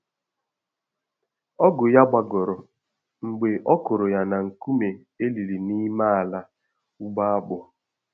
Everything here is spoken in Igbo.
Ọgụ ya gbagọrọ mgbe ọ kụrụ ya na nkume eliri n'ime ala ugbo akpụ